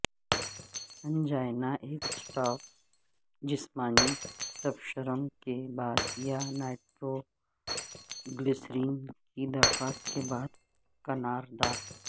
angina ایک stop جسمانی تبشرم کے بعد یا نائٹروگلسرین کی درخواست کے بعد کنار دار